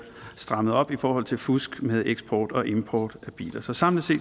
strammet op i forhold til fusk med eksport og import af biler så samlet